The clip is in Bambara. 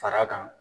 Fara kan